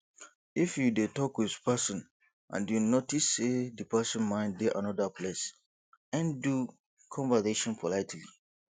if you dey talk with person and you notice sey di person mind dey anoda place end do conversation politely